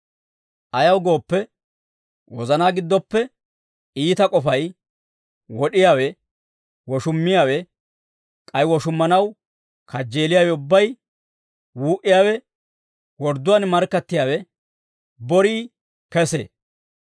Ayaw gooppe, wozanaa giddoppe iita k'ofay, wod'iyaawe, woshummiyaawe, k'ay woshummanaw kajjeeliyaawe ubbay, wuu"iyaawe, wordduwaan markkattiyaawe, borii kesee.